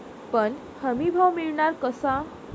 पण हमीभाव मिळणार कसा?